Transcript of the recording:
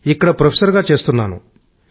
ఇక్కడ ప్రొఫెసర్ గా చేస్తున్నాను